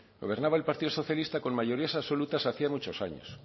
gobernaba el partido socialista con mayorías absolutas hacía muchos años